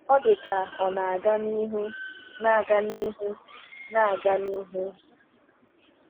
Ọ dị ka ọ na-aga n’ihu na-aga n’ihu na-aga n’ihu.